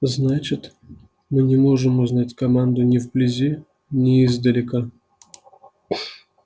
значит мы не можем узнать команду ни вблизи ни издалека